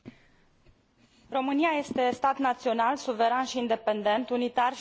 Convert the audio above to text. România este stat național, suveran și independent, unitar și indivizibil.